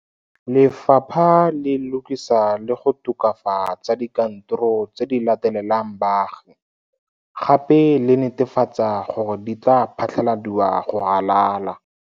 Lefapha le lokisa le go tokafa tsa dikantoro tse di latelelang baagi gape le netefatsa gore di tla phatlaladiwa go ralala.